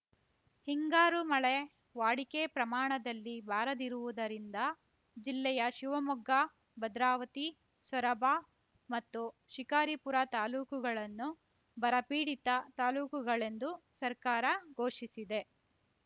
ಹಿಂಗಾರು ಮಳೆ ವಾಡಿಕೆ ಪ್ರಮಾಣದಲ್ಲಿ ಬಾರದಿರುವುದರಿಂದ ಜಿಲ್ಲೆಯ ಶಿವಮೊಗ್ಗ ಭದ್ರಾವತಿ ಸೊರಬ ಮತ್ತು ಶಿಕಾರಿಪುರ ತಾಲೂಕುಗಳನ್ನು ಬರಪೀಡಿತ ತಾಲೂಕುಗಳೆಂದು ಸರ್ಕಾರ ಘೋಷಿಸಿದೆ